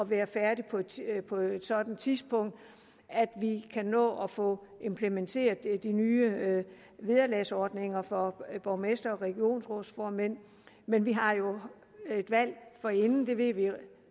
være færdig på et sådant tidspunkt at vi kan nå at få implementeret de nye vederlagsordninger for borgmestre og regionsrådsformænd men vi har jo et valg forinden det ved vi